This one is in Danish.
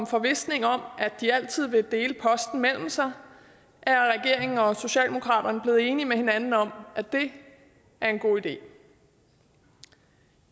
forvisning om at de altid vil dele posten mellem sig er regeringen og socialdemokratiet blevet enige med hinanden om at det er en god idé